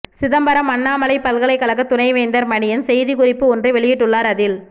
சிதம்பரம் அண்ணாமலைப் பல்கலைக்கழக துணைவேந்தர் மணியன் செய்திகுறிப்பு ஒன்று வெளியிட்டுள்ளார் அதில்